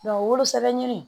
wolosɛbɛn ɲini